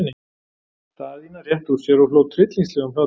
Daðína rétti úr sér og hló tryllingslegum hlátri.